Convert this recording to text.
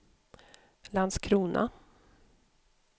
Landskrona